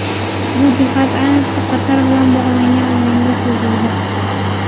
Bu jihat ayniqsa Qatar bilan bo‘lgan o‘yinda sezildi.